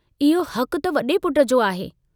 इहो हकु त वडे़ पुट जो आहे।